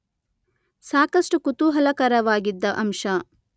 ಸಾಕಷ್ಟು ಕುತೂಹಲಕರವಾಗಿದ್ದ ಅಂಶ